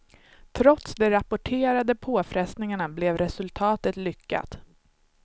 Trots de rapporterade påfrestningarna blev resultatet lyckat.